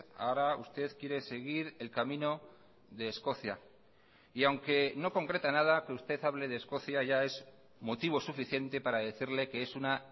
ahora usted quiere seguir el camino de escocia y aunque no concreta nada que usted hable de escocia ya es motivo suficiente para decirle que es una